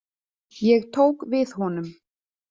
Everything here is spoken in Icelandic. Ég tók við honum.